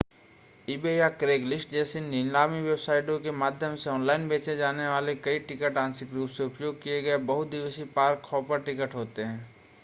eBay या Craigslist जैसी नीलामी वेबसाइटों के माध्यम से ऑनलाइन बेचे जाने वाले कई टिकट आंशिक रूप से उपयोग किए गए बहु-दिवसीय पार्क-हॉपर टिकट होते हैं